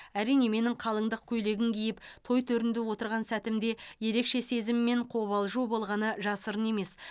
әрине менің қалыңдық көйлегін киіп той төрінде отырған сәтімде ерекше сезім мен қобалжу болғаны жасырын емес